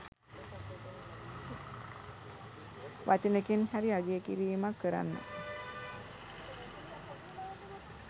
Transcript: වචනෙකින් හරි අගය කිරීමක් කරන්න